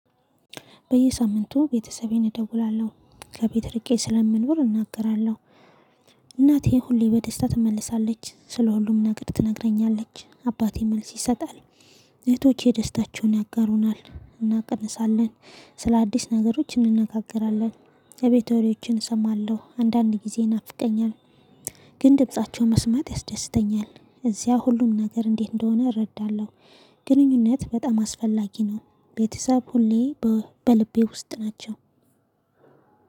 በየሳምንቱ ቤተሰቤን እደውላለሁ። ከቤት እርቄ ስለምንኖር እናገራለሁ እናቴ ሁሌ በደስታ ትመለሳለች። ስለ ሁሉም ነገር ትነግረኛለች አባቴ መልስ ይሰጣል። እህቶቼ ደስታቸውን ያጋሩናል። እናቀንሳለን ስለአዲስ ነገሮች እንነጋገራለን። የቤት ወሬዎችን እሰማለሁ። አንዳንድ ጊዜ ይናፍቀኛል። ግን ድምፃቸውን መስማት ያስደስተኛል። እዚያ ሁሉም ነገር እንዴት እንደሆነ እረዳለሁ። ግንኙነት በጣም አስፈላጊ ነው። ቤተሰብ ሁሌ በው በልቤ ውስጥ ናቸው።